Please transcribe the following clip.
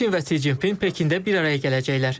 Putin və Si Jinping Pekində bir araya gələcəklər.